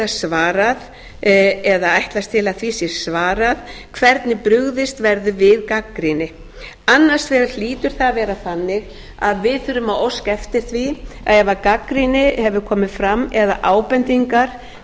geta svarað eða ætlast til að því sé svarað hvernig brugðist verður við gagnrýni annars vegar hlýtur það að vera þannig að við þurfum að óska eftir því að ef gagnrýni hefur komið fram eða ábendingar